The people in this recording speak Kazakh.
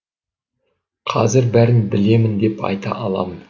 қазір бәрін білемін деп айта аламын